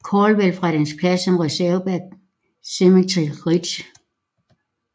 Caldwell fra dens plads som reserve bag Cemetery Ridge